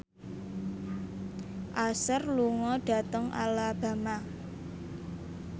Usher lunga dhateng Alabama